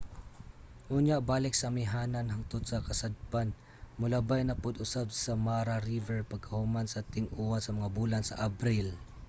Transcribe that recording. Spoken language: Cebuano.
unya balik sa amihanan hangtod sa kasadpan molabay na pud usab sa mara river pagkahuman sa ting-uwan sa mga bulan sa abril